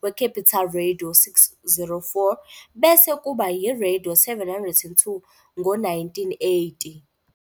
kwe-Capital Radio 604, bese kuba yi-Radio 702 ngo-1980.